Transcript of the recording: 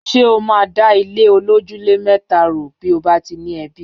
Ṣé o máa dà ilé olójúlé mẹ́tà rò bí ó bá ti ní ẹbí?